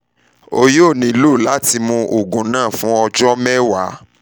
o yoo nilo lati mu oogun naa fun ọjọ 10